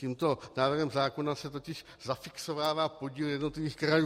Tímto návrhem zákona se totiž zafixovává podíl jednotlivých krajů.